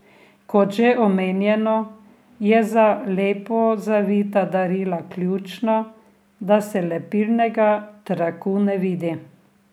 Kot že omenjeno, je za lepo zavita darila ključno, da se lepilnega traku ne vidi.